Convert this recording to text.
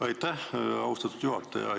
Aitäh, austatud juhataja!